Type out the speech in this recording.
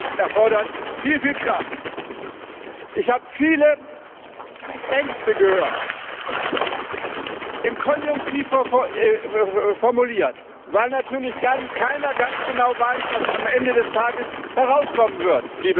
Das erfordert viel Kraft. Ich habe viele Ängste gehört im Konjunktiv formuliert, weil natürlich dann keiner ganz genau weiß, was am Ende des Tages herauskommen